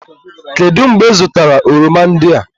Kedụ mgbe ị zụtara oroma ndị a?